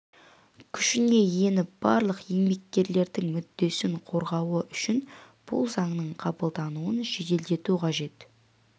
күшіне еніп барлық еңбеккерлердің мүддесін қорғауы үшін бұл заңның қабылдануын жеделдету қажет